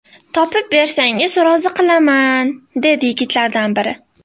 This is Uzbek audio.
Topib bersangiz rozi qilaman, - dedi yigitlardan biri.